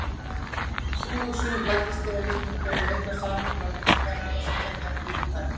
Sú hugsun læddist þegar að Íslendingum, að eitthvert samhengi væri milli ferða þessara tveggja vígtækja.